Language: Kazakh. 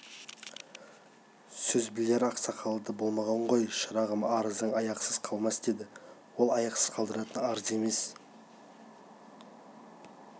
сөз білер ақсақалы да болмаған ғой шырағым арызың аяқсыз қалмас деді ол аяқсыз қалдыратын арыз сияқты емес